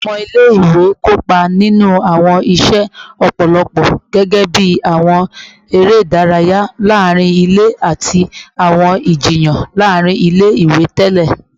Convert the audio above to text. Awọn ọmọ ile-iwe kopa ninu awọn iṣe lọpọlọpọ gẹgẹbi awọn ere idaraya laarin ile ati awọn ijiyan laarin ile-iwe tẹlẹ